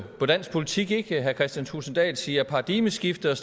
på dansk politik at herre kristian thulesen dahl siger paradigmeskifte og